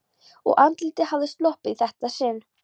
Og andlitið hafði sloppið í þetta sinn.